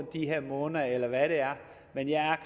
de her måneder eller hvad det er men jeg er